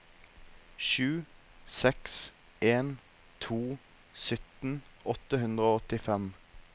sju seks en to sytten åtte hundre og åttifem